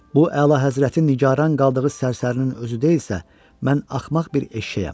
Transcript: Bu əla həzrətin nigaran qaldığı sərsərinin özü deyilsə, mən axmaq bir eşşəyəm.